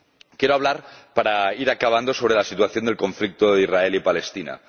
Quiero hablar, para ir acabando, sobre la situación del conflicto de Israel y Palestina.